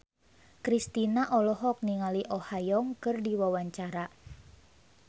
Kristina olohok ningali Oh Ha Young keur diwawancara